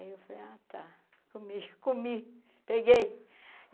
Aí eu falei, ah está, comi, comi, peguei.